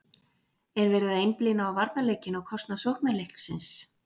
Er verið að einblína á varnarleikinn á kostnað sóknarleiksins?